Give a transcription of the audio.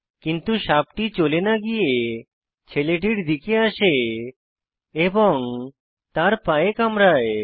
কিন্তু সাপটি চলে না গিয়ে ছেলেটির দিকে আসে এবং তার পায়ে কামড়ায়